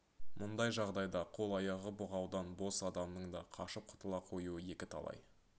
мұндай жағдайда қол-аяғы бұғаудан бос адамның да қашып құтыла қоюы екі талай